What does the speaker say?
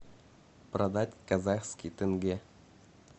продать казахский тенге